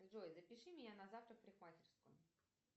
джой запиши меня на завтра в парикмахерскую